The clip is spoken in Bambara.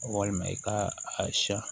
Walima i k'a a siya